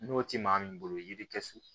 N'o tɛ maa min bolo yiri tɛ so